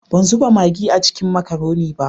Ban zuba magi a ciki n makaronin ba.